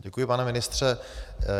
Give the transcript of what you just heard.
Děkuji, pane ministře.